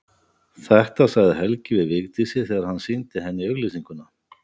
Þetta sagði Helgi við Vigdísi þegar hann sýndi henni auglýsinguna.